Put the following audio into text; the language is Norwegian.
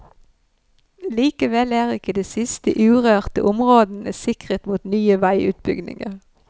Likevel er ikke de siste urørte områdene sikret mot nye veiutbygginger.